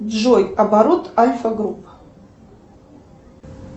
джой оборот альфа групп